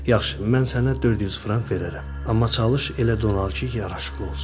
Yaxşı, mən sənə 400 frank verərəm, amma çalış elə don al ki, yaraşıqlı olsun.